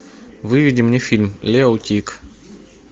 выведи мне фильм лео тиг